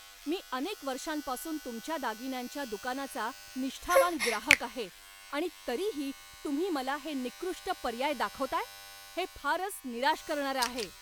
मी अनेक वर्षांपासून तुमच्या दागिन्यांच्या दुकानाचा निष्ठावान ग्राहक आहे आणि तरीही तुम्ही मला हे निकृष्ट पर्याय दाखवताय? हे फारच निराश करणारं आहे.